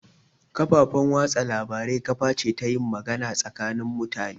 Kafafan watsa labarai kaface ta yin magana gakanin mutane